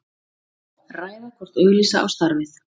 Ræða hvort auglýsa á starfið